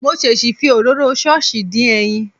Mo ṣèṣì fi òróró ṣọ́ọ̀ṣì dín ẹyin.